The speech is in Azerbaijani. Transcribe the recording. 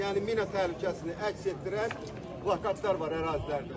Yəni mina təhlükəsini əks etdirən plakatlar var ərazilərdə.